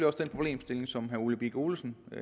også den problemstilling som herre ole birk olesen